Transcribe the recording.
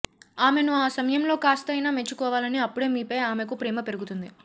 ఆమెను ఆ సమయంలో కాస్త అయినా మెచ్చుకోవాలి అప్పుడే మీపై ఆమెకు ప్రేమ పెరుగుతుంది